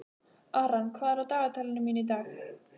Aran, hvað er á dagatalinu mínu í dag?